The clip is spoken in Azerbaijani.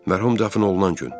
Mərhum dəfn olunan gün.